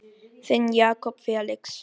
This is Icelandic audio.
Þinn Jakob Felix.